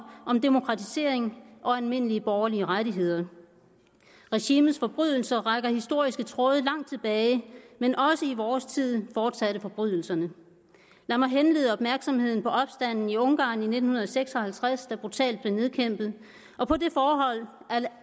om demokratisering og almindelige borgerlige rettigheder regimets forbrydelser trækker historiske tråde langt tilbage men også i vores tid fortsatte forbrydelserne lad mig henlede opmærksomheden på opstanden i ungarn i nitten seks og halvtreds der brutalt blev nedkæmpet og på det forhold